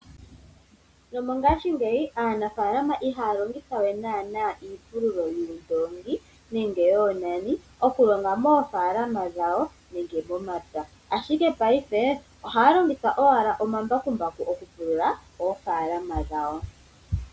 Nomongaangeyi aanafalama ihaya longitha we naana iipululo yuundongi nenge wo yoonani okulonga moofalama dhawo nenge momapya . Ashike paife oha longitha owala omambakumbaku okupulula oofalama dhawo.